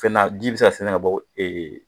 Fɛn na ji bɛ se ka sɛɛnɛ ka bɔ